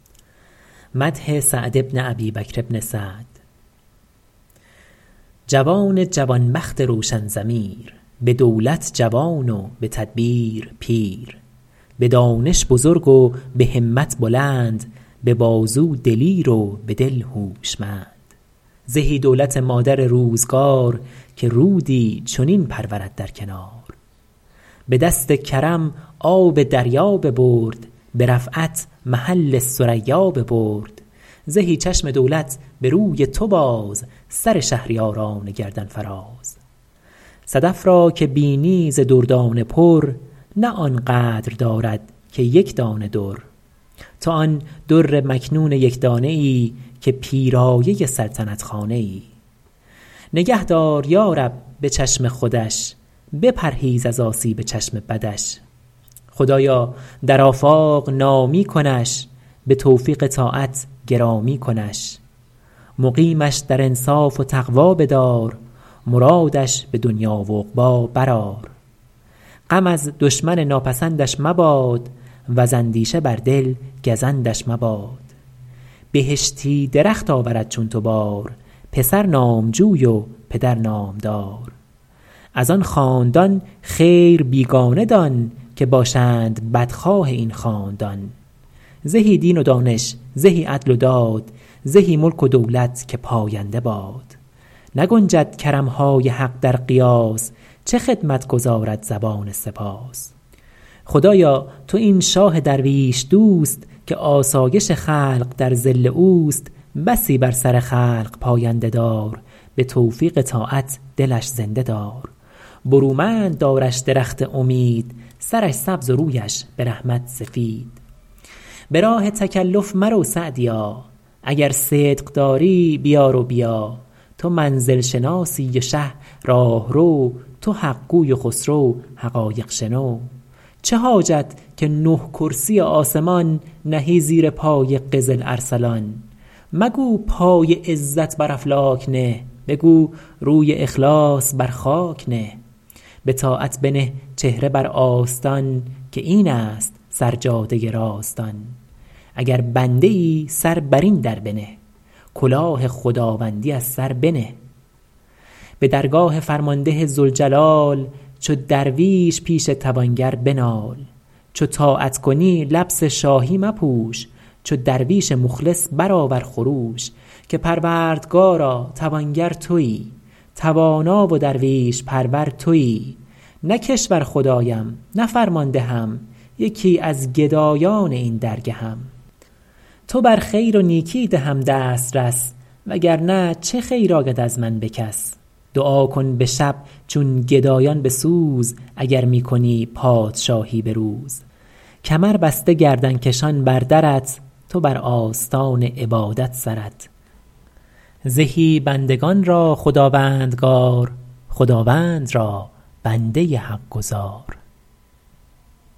اتابک محمد شه نیکبخت خداوند تاج و خداوند تخت جوان جوان بخت روشن ضمیر به دولت جوان و به تدبیر پیر به دانش بزرگ و به همت بلند به بازو دلیر و به دل هوشمند زهی دولت مادر روزگار که رودی چنین پرورد در کنار به دست کرم آب دریا ببرد به رفعت محل ثریا ببرد زهی چشم دولت به روی تو باز سر شهریاران گردن فراز صدف را که بینی ز دردانه پر نه آن قدر دارد که یکدانه در تو آن در مکنون یکدانه ای که پیرایه سلطنت خانه ای نگه دار یارب به چشم خودش بپرهیز از آسیب چشم بدش خدایا در آفاق نامی کنش به توفیق طاعت گرامی کنش مقیمش در انصاف و تقوی بدار مرادش به دنیا و عقبی برآر غم از دشمن ناپسندش مباد وز اندیشه بر دل گزندش مباد بهشتی درخت آورد چون تو بار پسر نامجوی و پدر نامدار از آن خاندان خیر بیگانه دان که باشند بدخواه این خاندان زهی دین و دانش زهی عدل و داد زهی ملک و دولت که پاینده باد نگنجد کرمهای حق در قیاس چه خدمت گزارد زبان سپاس خدایا تو این شاه درویش دوست که آسایش خلق در ظل اوست بسی بر سر خلق پاینده دار به توفیق طاعت دلش زنده دار برومند دارش درخت امید سرش سبز و رویش به رحمت سفید به راه تکلف مرو سعدیا اگر صدق داری بیار و بیا تو منزل شناسی و شه راهرو تو حقگوی و خسرو حقایق شنو چه حاجت که نه کرسی آسمان نهی زیر پای قزل ارسلان مگو پای عزت بر افلاک نه بگو روی اخلاص بر خاک نه بطاعت بنه چهره بر آستان که این است سر جاده راستان اگر بنده ای سر بر این در بنه کلاه خداوندی از سر بنه به درگاه فرمانده ذوالجلال چو درویش پیش توانگر بنال چو طاعت کنی لبس شاهی مپوش چو درویش مخلص برآور خروش که پروردگارا توانگر تویی توانا و درویش پرور تویی نه کشور خدایم نه فرماندهم یکی از گدایان این درگهم تو بر خیر و نیکی دهم دسترس وگر نه چه خیر آید از من به کس دعا کن به شب چون گدایان به سوز اگر می کنی پادشاهی به روز کمر بسته گردن کشان بر درت تو بر آستان عبادت سرت زهی بندگان را خداوندگار خداوند را بنده حق گزار